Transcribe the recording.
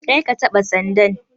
Karka taɓa sandan.